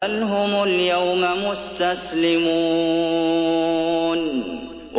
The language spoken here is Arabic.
بَلْ هُمُ الْيَوْمَ مُسْتَسْلِمُونَ